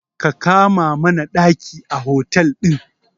Ka kama mana ɗaki a otel ɗin.